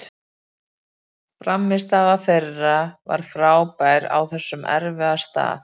Frammistaða þeirra var frábær á þessum erfiða stað.